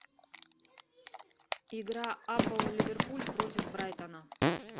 игра апл ливерпуль против брайтона